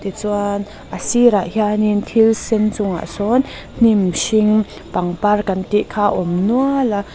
tichuan a sirah hian in thil sen chungah sawn hnim hring pangpar kan tih kha a awm nual a.